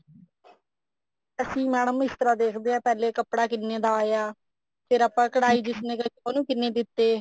ਅਸੀ madam ਇਸ ਤਰ੍ਹਾਂ ਦੇਖਦੇ ਹਾਂ ਪਹਿਲੇ ਵੀ ਕੱਪੜਾ ਕਿਸ ਤਰ੍ਹਾਂ ਦਾ ਆਇਆ ਫ਼ੇਰ ਕਢਾਈ ਜਿਸ ਨੇ ਕੀਤੀ ਉਹਨੂੰ ਕਿੰਨੇ ਦਿੱਤੇ